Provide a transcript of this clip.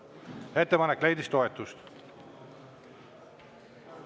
Ettepanek leidis toetust.